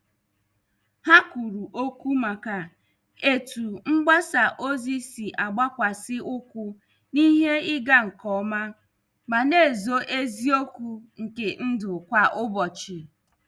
Ha kwuru okwu maka etu mgbasa ozi si agbakwasi ụkwụ n' ihe ịga nke ọma ma na- ezo eziokwu nke ndụ kwa ụbọchị.